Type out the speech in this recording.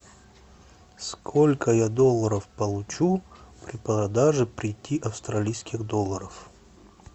сколько я долларов получу при продаже пяти австралийских долларов